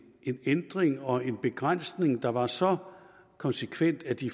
en ændring og en begrænsning der var så konsekvent at de